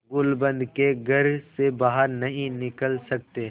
गुलूबंद के घर से बाहर नहीं निकल सकते